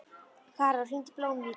Karol, hringdu í Blómhvíti.